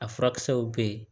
A furakisɛw bɛ yen